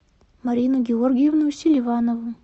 марину георгиевну селиванову